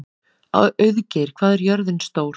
Auðgeir, hvað er jörðin stór?